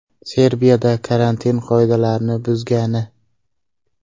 Serbiyada karantin qoidalarini buzgani ?